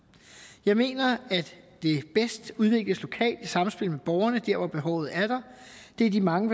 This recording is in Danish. jeg mener at det bedst udvikles lokalt i samspil med borgerne dér hvor behovet er det er de mange